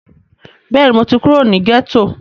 Bẹ́ẹ̀ni, mo ti kúrò ní gẹ́tò